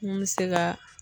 Mun bɛ se ka